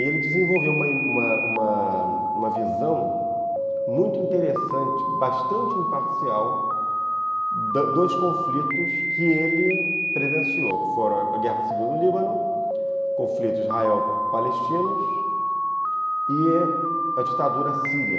E ele desenvolveu uma uma uma uma visão muito interessante, bastante imparcial, dos conflitos que ele presenciou, que foram a Guerra Civil do Líbano, o conflito Israel-Palestinos e a ditadura síria.